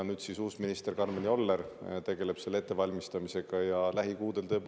Nüüd tegeleb selle ettevalmistamisega uus minister Karmel Joller.